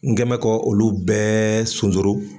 N gɛnbɛ ka olu bɛɛ sonsoro